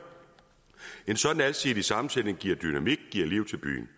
en sådan alsidig sammensætning giver dynamik og liv til byen